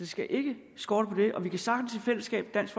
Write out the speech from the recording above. skal ikke skorte på det og vi kan sagtens i fællesskab dansk